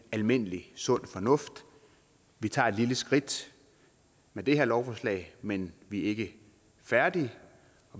almindelig sund fornuft vi tager et lille skridt med det her lovforslag men vi er ikke færdige